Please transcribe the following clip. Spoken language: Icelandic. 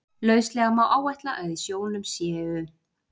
Lauslega má áætla að í sjónum séu